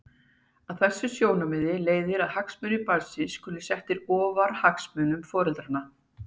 Af þessu sjónarmiði leiðir að hagsmunir barnsins skulu settir ofar hagsmunum foreldranna.